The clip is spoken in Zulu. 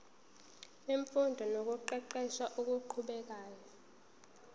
wemfundo nokuqeqesha okuqhubekayo